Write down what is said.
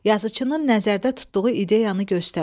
Yazıçının nəzərdə tutduğu ideyanı göstər.